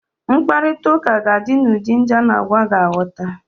Mkparitauka ga di n'ụdị ndi a na agwa ga aghota